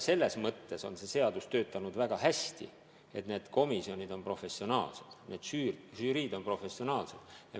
Selles mõttes on see seadus töötanud väga hästi, et need komisjonid on professionaalsed, need žüriid on professionaalsed.